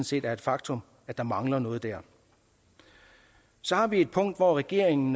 set er et faktum at der mangler noget der så har vi et punkt hvor regeringen